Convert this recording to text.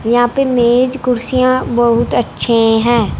यहां पे मेज कुर्सियां बहुत अच्छे हैं।